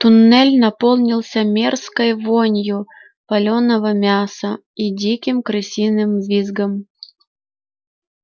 туннель наполнился мерзкой вонью палёного мяса и диким крысиным визгом